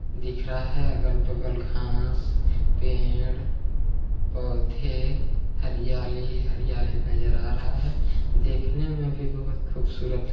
-- दिख रहा है अगल- बगल घास पेड़ पौधे हरियाली हरियाली नजर आ रहा है देखने में भी बहोत खूबसूरत--